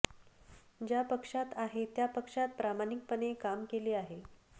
ज्या पक्षात आहे त्या पक्षात प्रामाणिकपणे काम केले आहे